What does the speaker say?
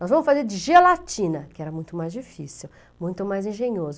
Nós vamos fazer de gelatina, que era muito mais difícil, muito mais engenhoso.